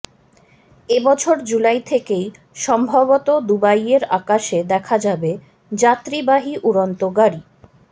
এবছর জুলাই থেকেই সম্ভবত দুবাইয়ের আকাশে দেখা যাবে যাত্রীবাহী উড়ন্ত গাড়ি